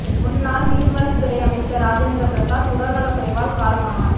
முன்னாள் மீன்வளத்துறை அமைச்சர் ராஜேந்திர பிரசாத் உடல் நல்க் குறைவால் காலமானார்